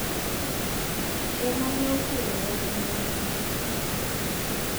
Ema ne okelo wach mar duso gi.